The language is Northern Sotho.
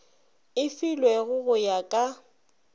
e filwego go ya ka